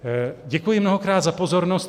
Děkuji mnohokrát za pozornost.